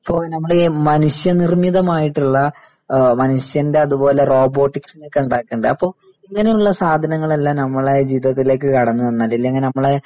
അപ്പൊ നമ്മളീ മനുഷ്യനിർമ്മിതമായിട്ടുള്ള മനുഷ്യന്റെ അത് പോലെ റോബെർട്ടിക്‌സിനെയൊക്കെ ഉണ്ടാക്കണ്ടേ അപ്പൊ ഇങ്ങനെയുള്ള സാധനങ്ങളെല്ലാം നമ്മുടെ ജീവിതത്തില് കടന്നു വന്നപ്പോള്